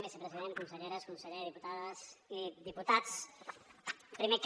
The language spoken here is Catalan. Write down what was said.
vicepresident conselleres conseller diputades i diputats primer que